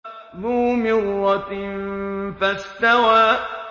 ذُو مِرَّةٍ فَاسْتَوَىٰ